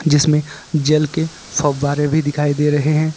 जिसमें जल के फव्वारे भी दिखाई दे रहे हैं।